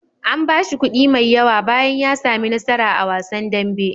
An bashi kuɗi mai yawa bayan ya sami nasara a wasan dambe.